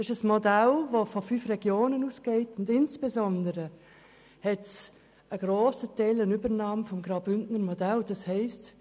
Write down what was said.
Es ist ein Modell, das von fünf Regionen ausgeht, wobei insbesondere ein grosser Teil des Bündner Modells übernommen wird.